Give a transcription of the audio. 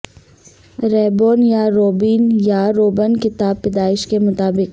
رئبون یا روبین یا روبن کتاب پیدائش کے مطابق